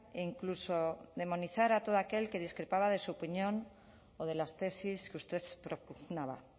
e incluso demonizar a todo aquel que discrepaba de su opinión o de las tesis que usted propugnaba